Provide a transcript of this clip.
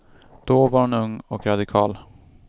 Då var hon ung och radikal.